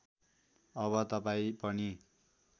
अब तपाईँ पनि